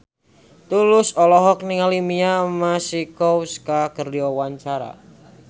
Tulus olohok ningali Mia Masikowska keur diwawancara